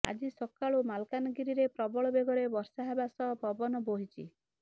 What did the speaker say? ଆଜି ସକାଳୁ ମାଲକାନଗିରିରେ ପ୍ରବଳ ବେଗରେ ବର୍ଷା ହେବା ସହ ପବନ ବୋହିଛି